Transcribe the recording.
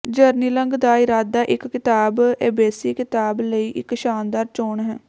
ਜਰਨਿਲੰਗ ਦਾ ਇਰਾਦਾ ਇਕ ਕਿਤਾਬ ਏਬੀਸੀ ਕਿਤਾਬ ਲਈ ਇਕ ਸ਼ਾਨਦਾਰ ਚੋਣ ਹੈ